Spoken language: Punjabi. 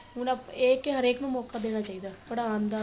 ਹੁਣ ਆਪਾਂ ਇਹ ਏ ਕੀ ਹਰੇਕ ਨੂੰ ਮੋਕਾ ਦੇਣਾ ਚਾਹੀਦਾ ਪੜਾਣ ਦਾ ਵੀ